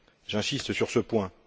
J'insiste sur ce point.